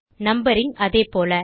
numbering அதே போல